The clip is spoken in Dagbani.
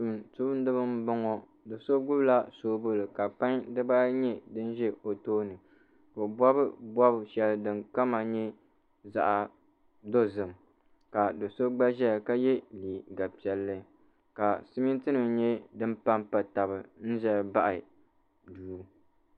Tumtuundiba m-bɔŋɔ do' so gbubila soobuli ka pan dibaayi nyɛ din ʒi o tooni ka o bɔbi bɔb’shɛli din kama nyɛ zaɣ’dɔzim ka do’so gba ʒiya ka ye leega piɛlli ka simiintinima nyɛ din pampaya taba n-zaya m-baɣa duu